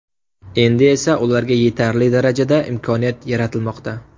Endi esa ularga yetarli darajada imkoniyat yaratilmoqda.